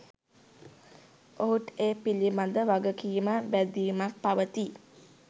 ඔහුට ඒ පිළිබඳ වගකීමක්, බැඳීමක් පවතියි.